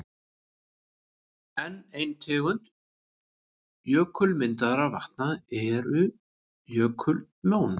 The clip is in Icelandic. Enn ein tegund jökulmyndaðra vatna eru jökullón.